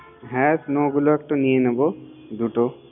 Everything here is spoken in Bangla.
হ্যা ওগুলো একটু নিয়ে নিবো দুটো